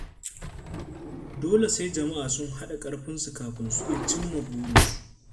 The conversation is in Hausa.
Dole sai jama'a sun haɗa karfinsu kafin su iya cimma burinsu.